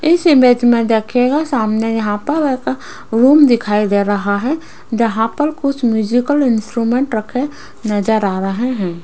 इस इमेज में देखिएगा सामने यहां पर एक रूम दिखाई दे रहा है जहां पर कुछ म्यूजिकल इंस्ट्रूमेंट रखे नजर आ रहे हैं।